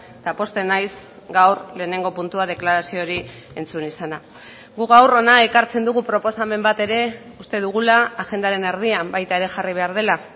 eta pozten naiz gaur lehenengo puntua deklarazio hori entzun izana gu gaur hona ekartzen dugu proposamen bat ere uste dugula agendaren erdian baita ere jarri behar dela